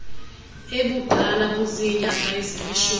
ebudala buziinyanga ezilishumi